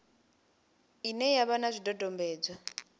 ine ya vha na zwidodombedzwa